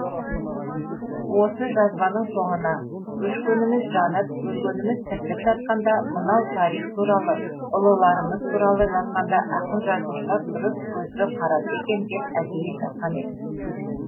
осы жазбаның соңына өшкеніміз жанып өлгеніміз тіріліп жатқанда мынау тарих туралы ұлыларымыз туралы жазғанда ақын жазушылар дұрыс көзбен қараса екен деп әдейі жазған едім